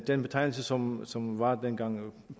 den betegnelse som som var dengang herre